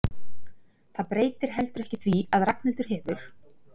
Það breytir heldur ekki því að Ragnhildur hefur